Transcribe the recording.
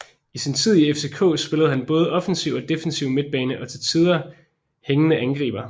I sin tid i FCK spillede han både offensiv og defensiv midtbane og til tider tillige hængende angriber